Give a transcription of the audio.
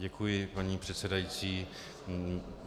Děkuji, paní předsedající.